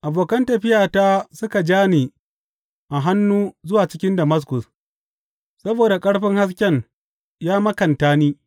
Abokan tafiyata suka ja ni a hannu zuwa cikin Damaskus, saboda ƙarfin hasken ya makanta ni.